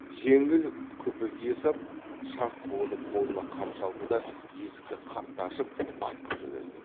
жеңіл күпі кие сап шарт буынып қолына қамшы алды да есікті қатты ашып атқып жөнелді